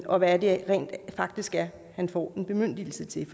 og hvad det rent faktisk er han får en bemyndigelse til